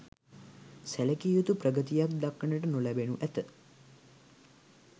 සැලකිය යුතු ප්‍රගතියක් දක්නට නොලැබෙනු ඇත.